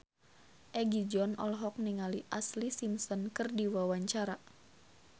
Egi John olohok ningali Ashlee Simpson keur diwawancara